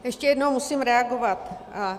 Ještě jednou musím reagovat.